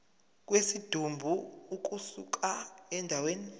kwesidumbu ukusuka endaweni